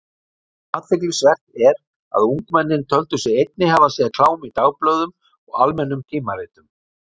Athyglisvert er að ungmennin töldu sig einnig hafa séð klám í dagblöðum og almennum tímaritum.